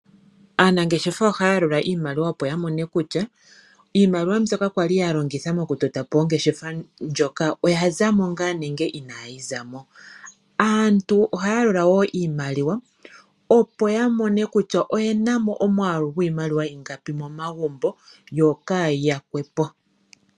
Aanangeshefa ohaya yalula iimaliwa opo ya mone kutya iimaliwa mbyoka yali ya longitha oku tota po ongeshefa ndjoka oya za mo ngaa nenge inayi za mo. Aantu ohaya yalula woo iimwaliwa opo ya mone kutya oye na mo omwaalu gwiimaliwa ingapi momaambo yo kaayi yakwe po.